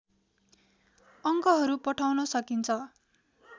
अङ्कहरू पठाउन सकिन्छ